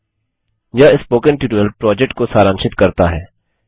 httpspoken tutorialorgWhat is a Spoken Tutorial यह spoken tutorial project को सारांशित करता है